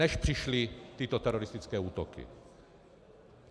Než přišly tyto teroristické útoky.